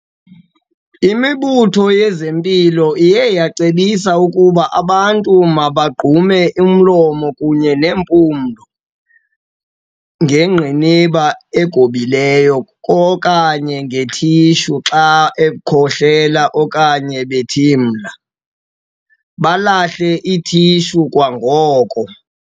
Imibutho yezempilo iye yacebisa ukuba abantu bagqume umlomo kunye nempumlo ngengqiniba egobileyo okanye nge-tissue xa bekhohlela okanye bethimla, balahle i-tissue kwangoko.